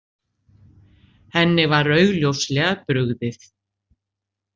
Henni var augljóslega brugðið.